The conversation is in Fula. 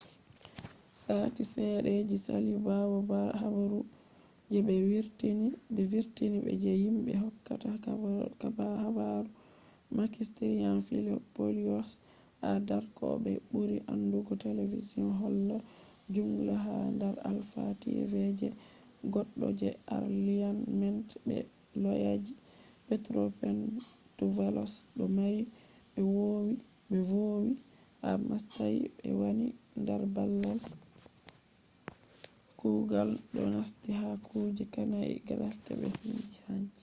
sati sedda je sali bawo habaru je be vurtini be je himbe hokkata habaru makis triantafylopoulos ha dark oh be buri andugo television holla ‘’zoungla’’ ha dar alpha tv je goddo je arliament be loyaji petros mantouvalos do mari be vowi ha mastayi be wani dar babal kugal do nasti ha kuje hanai graft be cin hanci